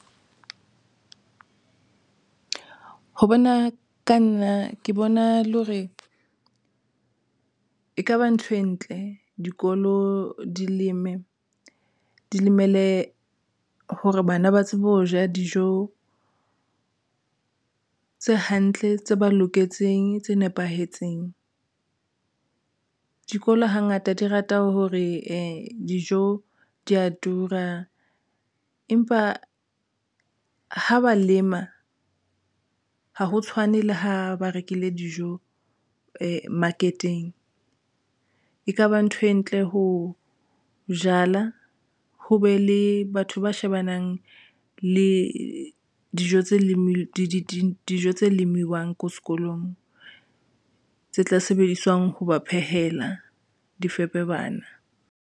Ho bona ka nna ke bona le hore e ka ba ntho e ntle, dikolo di leme di lemele hore bana ba tsebe ho ja dijo tse hantle tse ba loketseng, tse nepahetseng. Dikolo hangata di rata hore dijo di a tura empa ha ba lema ha ho tshwane le ha ba rekile dijo market-eng. E ka ba ntho e ntle Ho jala, ho be le batho ba shebanang le dijo tse leng di dijo tse lemiwang ko sekolong tse tla sebediswang ho ba phehela di fepe bana.